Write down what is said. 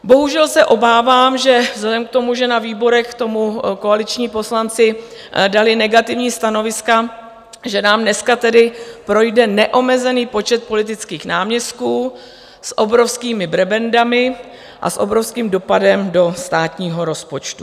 Bohužel se obávám, že vzhledem k tomu, že na výborech k tomu koaliční poslanci dali negativní stanoviska, že nám dneska tedy projde neomezený počet politických náměstků, s obrovskými prebendami a s obrovským dopadem do státního rozpočtu.